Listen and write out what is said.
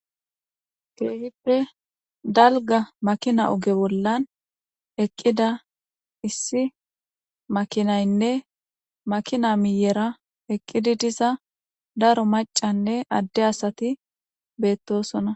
Keehippe dalga makina oge bollan eqqida issi makinaynne makina miyera eqqidi diza daro macanne adde asati beettosona.